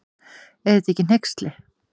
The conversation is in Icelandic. Er þetta ekki hneyksli.